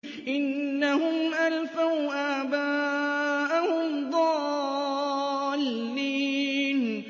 إِنَّهُمْ أَلْفَوْا آبَاءَهُمْ ضَالِّينَ